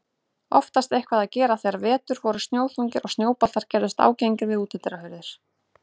Oftast eitthvað að gera þegar vetur voru snjóþungir og snjóboltar gerðust ágengir við útidyrahurðir.